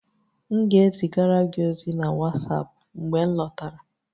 M ga-ezigara gị ozi na WhatsApp, mgbe m lọtara